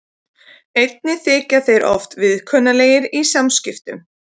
Einnig þykja þeir oft viðkunnanlegir í samskiptum.